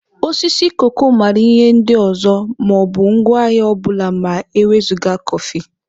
Osisi koko maara ihe ndị ọzọ ma ọ bụ ngwaahịa ọ bụla ma e wezụga kọfị